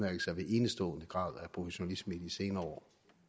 enestående grad af professionalisme i de senere år